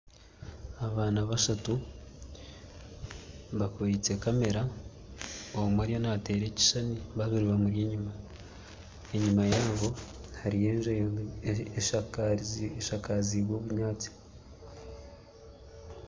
Abaana bashatu bakwitse kamera omwe ariyo nateera ekishuushani babiri bamuri enyuma, enyuma yaabo hariyo enju eshakazibwe obunyaatsi.